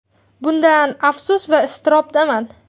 Bundan afsus va iztirobdaman.